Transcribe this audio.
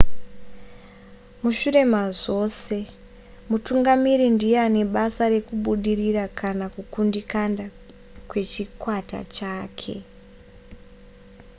mushure mazvose mutungamiri ndiye ane basa rekubudirira kana kukundikana kwechikwata chake